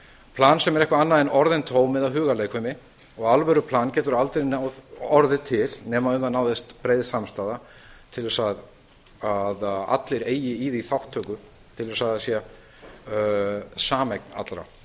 plan sem er eitthvað annað en orðin tóm eða hugarleikfimi alvöruplan getur aldrei orðið til nema um það náist breið samstaða til að allir eigi í því þátttöku til að það sé sameign allra við